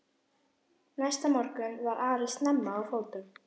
Næsta morgun var Ari snemma á fótum.